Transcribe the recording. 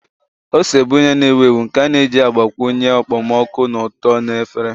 Ose bụ ihe na-ewu ewu nke a na-eji agbakwunye okpomọkụ na ụtọ na efere.